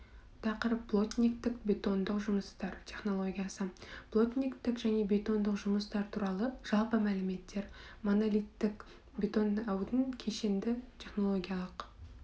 тақырып плотниктік бетондық жұмыстар технологиясы плотниктік және бетондық жұмыстар туралы жалпы мәліметтер монолиттік бетондаудың кешенді технологиялық